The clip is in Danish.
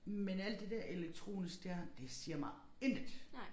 Men alt det der elektronisk der det siger mig intet